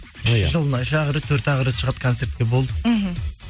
жылына үш ақ рет төрт ақ рет шығады концертке болды мхм